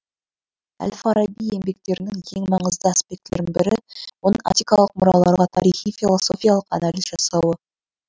әл фараби еңбектерінің ең маңызды аспектілерінің бірі оның антикалық мұраларға тарихи философиялық анализ жасауы